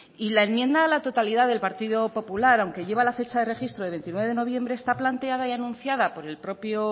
y la enmienda a la totalidad del partido popular aunque lleva la fecha de registro de veintinueve de noviembre está planteada y anunciada por el propio